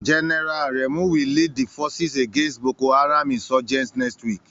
General Aremu will lead the forces against Boko Haram insurgents next week.